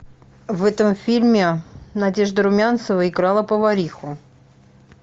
в этом фильме надежда румянцева играла повариху